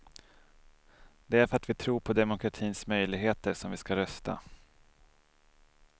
Det är för att vi tror på demokratins möjligheter som vi ska rösta.